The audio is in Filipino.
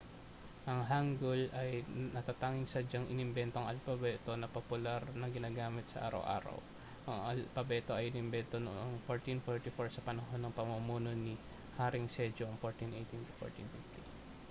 ang hangeul ang natatanging sadyang inimbentong alpabeto na popular na ginagamit sa araw-araw. ang alpabeto ay inimbento noong 1444 sa panahon ng pamumuno ni haring sejong 1418 â€ 1450